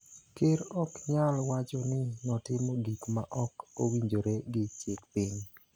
Ker ok nyal wacho ni notimo gik ma ok owinjore gi chik piny.